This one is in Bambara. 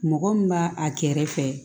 Mɔgɔ min b'a a kɛrɛfɛ